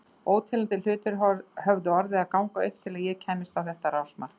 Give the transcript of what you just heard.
Óteljandi hlutir höfðu orðið að ganga upp til að ég kæmist á þetta rásmark.